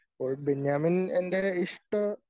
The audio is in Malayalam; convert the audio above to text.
അപ്പോൾ ബെന്യാമിൻ എൻ്റെ ഇഷ്ട